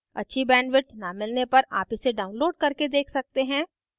अच्छी bandwidth न मिलने पर आप इसे download करके देख सकते हैं